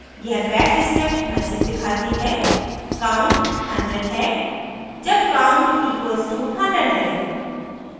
यह bash script message दिखाती है count 100 है जब count equals to 100 है